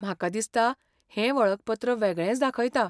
म्हाका दिसता हें वळखपत्र वेगळेंच दाखयता.